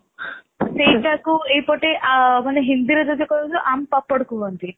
ସେଇଟା କୁ ଏଇ ପଟେ ହିନ୍ଦୀ ରେ ଯଦି କହିବା କୁହନ୍ତି